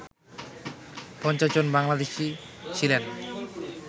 ৫০ জন বাংলাদেশি ছিলেন